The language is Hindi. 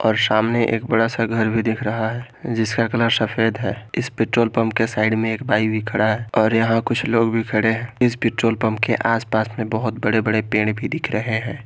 और सामने एक बड़ा सा घर भी दिख रहा है जिसका कलर सफेद है इस पेट्रोल पंप के साइड में एक बाइक भी खड़ा है और यहां कुछ लोग भी खड़े हैं इस पेट्रोल पंप के आसपास में बहोत बड़े बड़े पेड़ भी दिख रहे हैं।